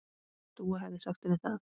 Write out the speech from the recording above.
Dúa hefði sagt henni það.